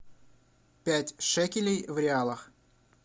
пять шекелей в реалах